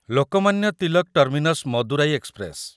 Lokmanya Tilak terminus Madurai express